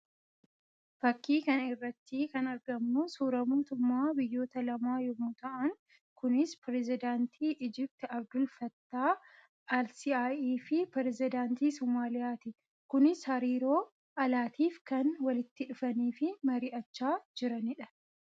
Fakkii kana irratti kan argamu suuraa mootummoota biyyoota lama yammuu ta'an kunis pirezidaantii Ijiptii Abdul Fattaa Alsiiaii fi pirezidaantii Somaaliyaa ti. Kunis hariiroo alaatiif kan walitti dhufanii fi mari'achaa jiranii dha.